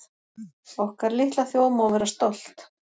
Okkar litla þjóð má vera stolt